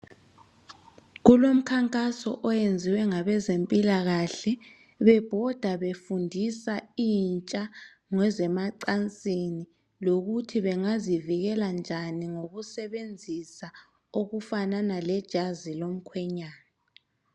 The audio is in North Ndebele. Kulomkhankaso oyenziwe ngabezempilakhe bebhoda befundisa intsha ngezemacansini lokuthi bengazivikela njani ngokusebenzisa okufanana lejazi lomkhwenyana.